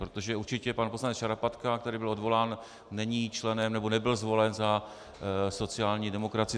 Protože určitě pan poslanec Šarapatka, který byl odvolán, není členem, nebo nebyl zvolen za sociální demokracii.